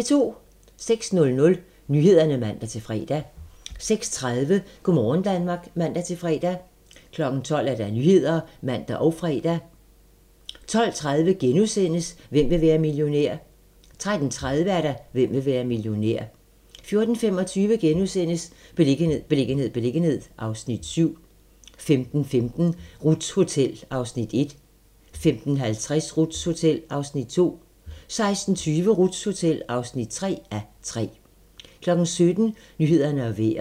06:00: Nyhederne (man-fre) 06:30: Go' morgen Danmark (man-fre) 12:00: Nyhederne (man og fre) 12:30: Hvem vil være millionær? * 13:30: Hvem vil være millionær? 14:25: Beliggenhed, beliggenhed, beliggenhed (Afs. 7)* 15:15: Ruths Hotel (1:3) 15:50: Ruths Hotel (2:3) 16:20: Ruths Hotel (3:3) 17:00: Nyhederne og Vejret